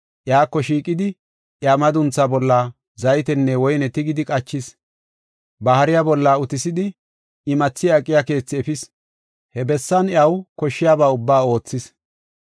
Iyako shiiqidi, iya maduntha bolla zaytenne woyne tigidi qachis. Ba hariya bolla utisidi imathi aqiya keethe efis. He bessan iyaw koshshiyaba ubbaa oothis.